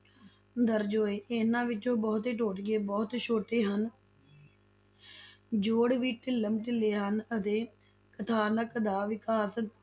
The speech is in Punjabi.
ਦਰਜ਼ ਹੋਏ, ਇਨ੍ਹਾਂ ਵਿੱਚੋਂ ਬਹੁਤੇ ਟੋਟਕੇ ਬਹੁਤ ਛੋਟੇ ਹਨ ਜੋੜ ਵੀ ਢਿੱਲਮ-ਢਿੱਲੇ ਹਨ, ਅਤੇ ਕਥਾਨਕ ਦਾ ਵਿਕਾਸ